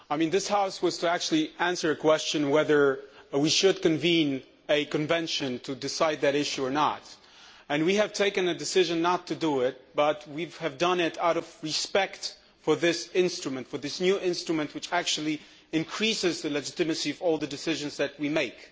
This House had to answer a question on whether or not we should convene a convention to decide that issue, and we have taken a decision not to do so, but we have done so out of respect for this instrument for this new instrument, which actually increases the legitimacy of all the decisions which we make.